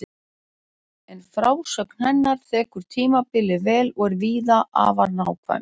En frásögn hennar þekur tímabilið vel og er víða afar nákvæm.